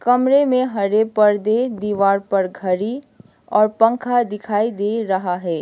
कमरे में हरे पर्दे दीवार पर घड़ी और पंखा दिखाई दे रहा है।